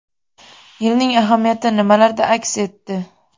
Yilning ahamiyati nimalarda aks etdi?